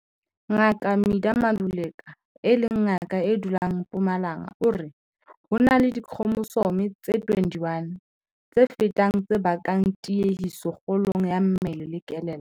Ngaka Midah Maluleka, e leng ngaka e dulang Mpumalanga o re, "Ho na le dikhromosome tse 21 tse fetang tse bakang tiehiso kgolong ya mmele le kelello."